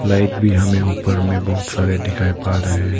Light भी हमें ऊपर में बहुत सारे दिखाई पड़ रहे हैं।